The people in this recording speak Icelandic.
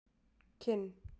Kinn